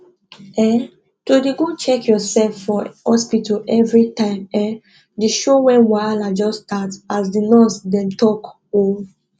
um to dey go check yourself for hospital everi time um dey show wen wahala just start as di nurse dem don talk um